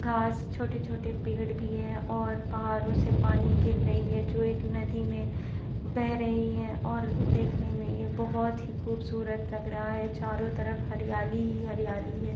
घास छोटे-छोटे पेड़ भी है और पहारों से पानी गिर रही है जो एक नदी में में बह रही है और देखने में ये बोहोत ही खुबसुरत लग रहा है चारो तरफ हरियाली ही हरियाली है।